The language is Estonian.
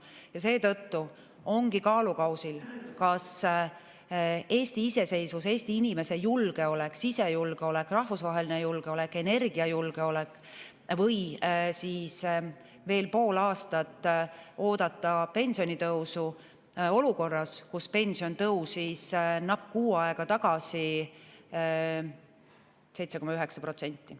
Ja seetõttu ongi kaalukausil, kas Eesti iseseisvus, Eesti inimese julgeolek, sisejulgeolek, rahvusvaheline julgeolek, energiajulgeolek või veel pool aastat oodata pensionitõusu, olukorras, kus pension tõusis napilt kuu aega tagasi 7,9%.